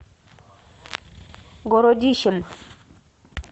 городищем